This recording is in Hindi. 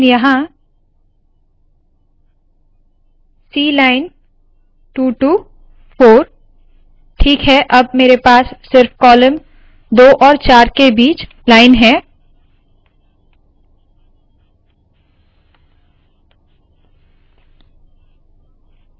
hलाइन यहाँ cलाइन 2 टू 4ठीक है अब मेरे पास सिर्फ कॉलम 2 और 4 के बीच लाइन है